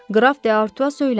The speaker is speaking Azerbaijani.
Qraf D'Artua söyləndi.